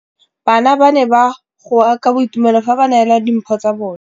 Bana ba ne ba goa ka boitumelo fa ba neelwa dimphô tsa bone.